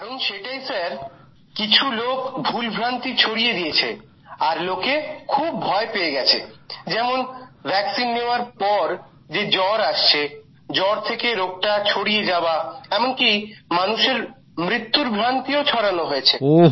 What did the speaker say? কারণ সেটাই স্যার কিছু লোক ভুল ভ্রান্তি ছড়িয়ে দিয়েছে আর লোকে খুব ভয় পেয়ে গেছে যেমন ভ্যাক্সিন নেওয়ার পর যে জ্বর আসছে জ্বর থেকে রোগটা ছড়িয়ে যাওয়া এমনকি মানুষের মৃত্যুর ভ্রান্তিও ছড়ানো হয়েছে